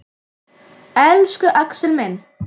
Elsku Axel minn.